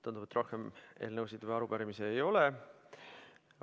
Tundub, et rohkem eelnõusid või arupärimisi üle anda ei ole.